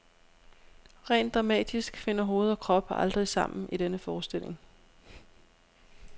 Rent dramatisk finder hoved og krop aldrig sammen i denne forestilling.